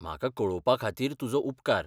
म्हाका कळोवपा खातीर तुजो उपकार.